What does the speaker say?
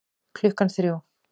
Klukkan þrjú